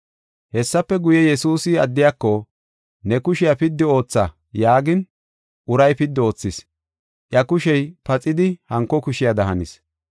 Hessafe guye, Yesuusi addiyako, “Ne kushiya piddi ootha” yaagin, uray piddi oothis. Iya kushey paxidi hanko kushiyada hanis.